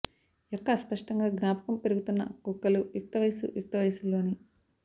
యొక్క అస్పష్టంగా జ్ఞాపకం పెరుగుతున్న కుక్కలు యుక్తవయస్సు యుక్తవయసులోని